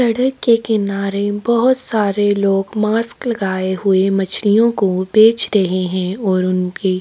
सड़के किनारे बहोत सारे लोग मास्क लगाये हुए मच्छलियो को बेचते रहै है ओर उनके--